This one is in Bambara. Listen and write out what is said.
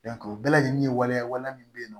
o bɛɛ lajɛlen ye waleya waleya min bɛ yen nɔ